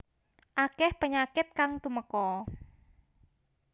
Akeh penyakit kang tumeka